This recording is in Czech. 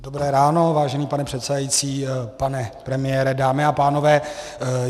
Dobré ráno, vážený pane předsedající, pane premiére, dámy a pánové.